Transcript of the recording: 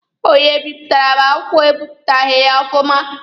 Onye bipụtara m akwụkwọ ebipụtaghị ya ọfụma.